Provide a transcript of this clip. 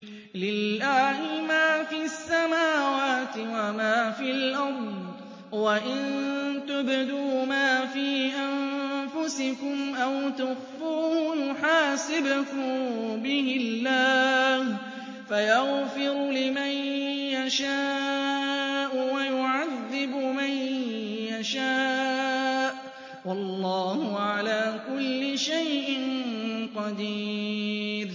لِّلَّهِ مَا فِي السَّمَاوَاتِ وَمَا فِي الْأَرْضِ ۗ وَإِن تُبْدُوا مَا فِي أَنفُسِكُمْ أَوْ تُخْفُوهُ يُحَاسِبْكُم بِهِ اللَّهُ ۖ فَيَغْفِرُ لِمَن يَشَاءُ وَيُعَذِّبُ مَن يَشَاءُ ۗ وَاللَّهُ عَلَىٰ كُلِّ شَيْءٍ قَدِيرٌ